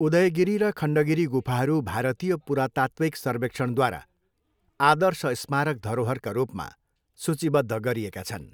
उदयगिरी र खण्डगिरी गुफाहरू भारतीय पुरातात्त्विक सर्वेक्षणद्वारा आदर्श स्मारक धरोहरका रूपमा सूचीबद्ध गरिएका छन्।